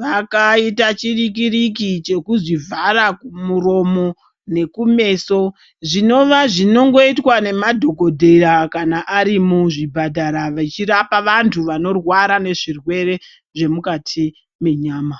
vakaita chirikiriki chekuzvivhara muromo nekumeso zvinova zvinongoitwa nemadhokodheya kana ari muzvipatara veirapa vantu vanorwara nezvirwere zvemukati mwenyama.